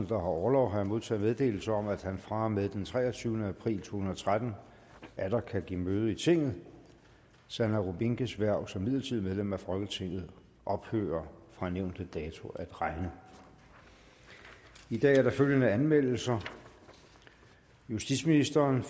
har orlov har jeg modtaget meddelelse om at han fra og med den treogtyvende april to tusind og tretten atter kan give møde i tinget sanne rubinkes hverv som midlertidigt medlem af folketinget ophører fra nævnte dato at regne i dag er der følgende anmeldelser justitsministeren